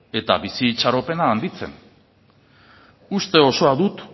eta bizi itxaropena handitzen uste osoa dut